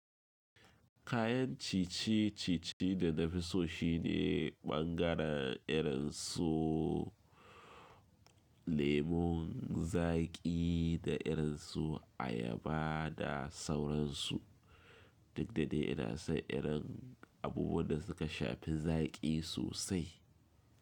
Kayan ciye-ciye da na fi so shine ɓangaren irin su lemon zaƙi da irin su ayaba da sauransu. Duk da dai ina na son irin abubuwan da suka shafi zaƙi sosai.